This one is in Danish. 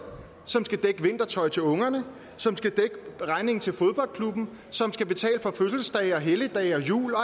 vintertøj til ungerne som skal dække regningen til fodboldklubben som skal betale for fødselsdage helligdage jul og